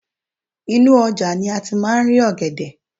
inú ojà ni a ti ma ri ògèdè